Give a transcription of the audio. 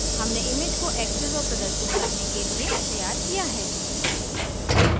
हमने image को access और प्रदर्शित करने के लिए तैयार किया है